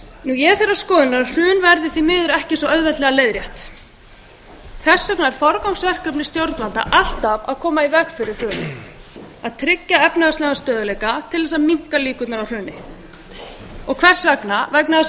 ég er þeirrar skoðunar að hrun verði því miður ekki svo auðveldlega leiðrétt þess vegna er forgangsverkefni stjórnvalda alltaf að koma í veg fyrir hrunið að tryggja efnahagslegan stöðugleika til að minnka líkurnar á hruni hvers vegna vegna þess að